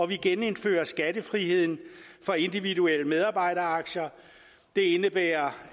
vi genindfører skattefriheden for individuelle medarbejderaktier det indebærer